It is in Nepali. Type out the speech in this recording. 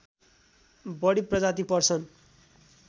बढी प्रजाति पर्छन्